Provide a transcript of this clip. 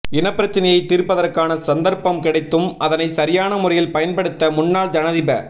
இனப்பிரச்சினையை தீர்ப்பதற்கான சந்தர்ப்பம் கிடைத்தும் அதனை சரியான முறையில் பயன்படுத்த முன்னாள் ஜனாதிப